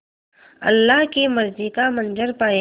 अल्लाह की मर्ज़ी का मंज़र पायेगा